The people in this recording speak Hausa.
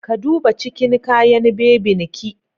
Ka duba cikin kayan bebin ki.